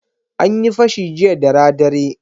An yi fashi jiya dara dare.